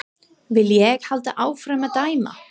Vil ég halda áfram að dæma?